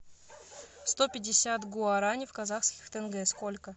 сто пятьдесят гуарани в казахских тенге сколько